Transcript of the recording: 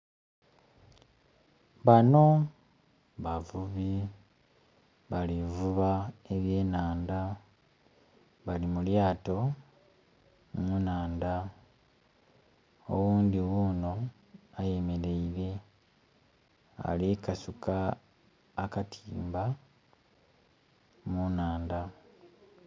Banho bavubi bali vuba eby'enhandha bali mu lyato mu nhandha, oghundhi ghuno ayemereile ali kukasuka akatimba mu nhandha.